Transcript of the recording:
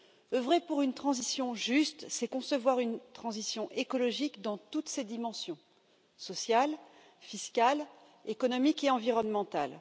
Œuvrer pour une transition juste, c'est concevoir une transition écologique dans toutes ses dimensions sociale, fiscale, économique et environnementale.